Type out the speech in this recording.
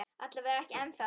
Alla vega ekki ennþá.